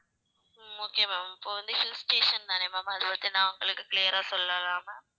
ஹம் okay ma'am இப்ப வந்து hill station தானே ma'am அத பத்தி நான் உங்களுக்கு clear ஆ சொல்லலாம் ma'am